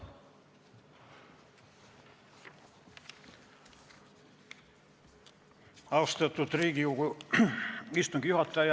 Austatud Riigikogu istungi juhataja!